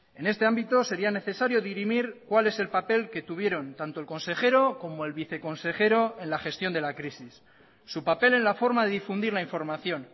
en este ámbito sería necesario dirimir cuál es el papel que tuvieron tanto el consejero como el viceconsejero en la gestión de la crisis su papel en la forma de difundir la información